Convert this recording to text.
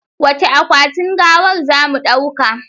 Wacce akwatin gawar zamu ɗauka?